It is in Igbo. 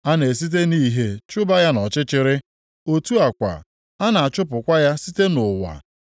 A na-esite nʼìhè chụba ya nʼọchịchịrị, otu a kwa, a na-achụpụkwa ya site nʼụwa.